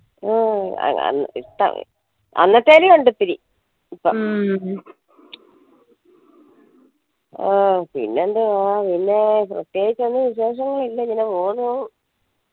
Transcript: അന്നത്തേലും ഉണ്ടിത്തിരി ഓ പിന്നെന്തുവാ പിന്നെ പ്രതേകിച്ചൊന്നും വിശേഷോന്നുല്ല